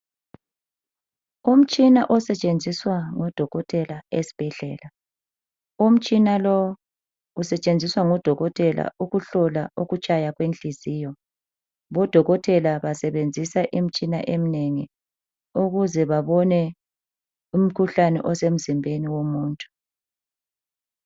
Umtshina osetshenziswa ngo dokotela esibhedlela, umtshina lo usetshenziswa ngu dokotela ukuhlola ukutshaya kwenhliziyo bodokotela basebenzisa imtshina emnengi ukuze babone imkhuhlane osemzimbeni womuntu.